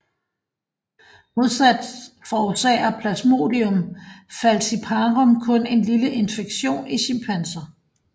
Modsat forårsager Plasmodium falciparum kun en lille infektion i chimpanser